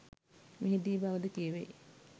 මෙහි දී බව ද කියැවෙයි.